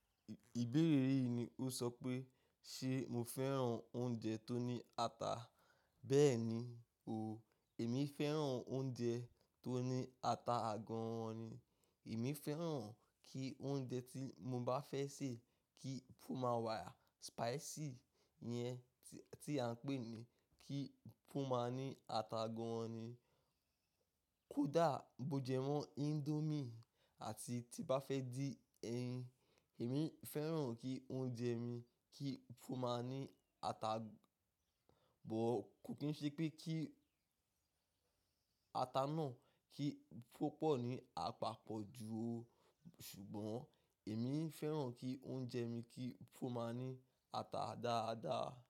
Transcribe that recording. Ìbéèrè yìí ni ó sọ pé, ṣe mo fẹ́ràn oúnjẹ tó ní ata? Bẹ́ẹ̀ni o, èmi fẹ́ràn oúnjẹ tó ní ata gan-an ni. Èmi fẹ́ràn kí oúnjẹ tí mo bá fẹ́ sè kí fún máa wà spicy yẹn tí à ń pè ní kí fún máa ní ata gan-an ni. Kódà bó jẹ mọ́ índómì àti tí bá fẹ́ dín ẹyin, èmi fẹ́ràn kí oúnjẹ mi kí fún máa ní ata, bọ̀ kò kí n ṣe pé kí ata náà kí fún pọ̀ ní àpapọ̀ ju o, ṣùgbọ́n èmi fẹ́ràn kí oúnjẹ mi kí fún máa ní ata dáadáa.